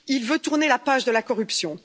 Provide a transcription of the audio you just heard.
il veut tourner la page de la corruption.